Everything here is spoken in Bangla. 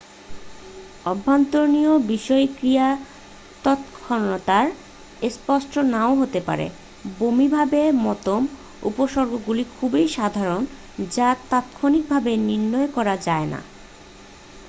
অভ্যন্তরীণ বিষক্রিয়া তৎক্ষণাত স্পষ্ট নাও হতে পারে বমিভাবের মতো উপসর্গগুলি খুবই সাধারণ যা তাৎক্ষণিকভাবে নির্ণয় করা যায় না